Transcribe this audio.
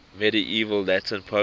medieval latin poets